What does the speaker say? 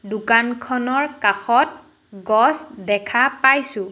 দোকানখনৰ কাষত গছ দেখা পাইছোঁ।